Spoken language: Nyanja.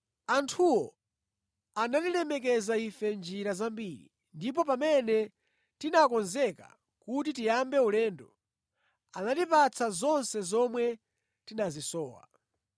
Anthuwo anatilemekeza ife mʼnjira zambiri ndipo pamene tinakonzeka kuti tiyambe ulendo, anatipatsa zonse zomwe tinazisowa.